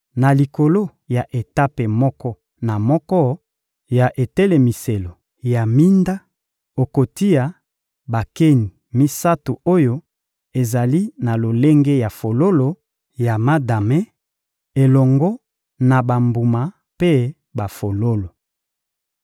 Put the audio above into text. Na likolo ya etape moko na moko ya etelemiselo ya minda, okotia bakeni misato oyo ezali na lolenge ya fololo ya madame, elongo na bambuma mpe bafololo.